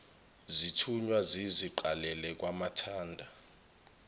zithunywa ziziqalela kwamathanda